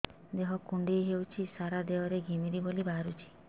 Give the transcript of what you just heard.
ଦେହ କୁଣ୍ଡେଇ ହେଉଛି ସାରା ଦେହ ରେ ଘିମିରି ଭଳି ବାହାରୁଛି